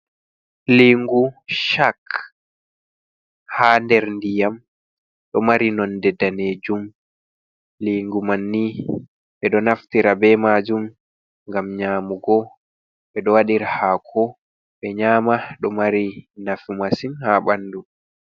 Liigu shak ha nder ndiyam ɗo mari nonde danejum lingu manni ɓe ɗo naftira be majum gam nyamugo ɓe ɗo waɗirahaako ɓe nyama ɗo mari nafu masin ha ɓandu.